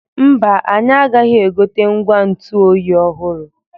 Mba, anyị agaghị egote ngwa ntụ oyi ọhụrụ.